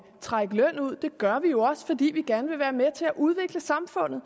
trække løn ud vi gør det jo også fordi vi gerne vil være med til at udvikle samfundet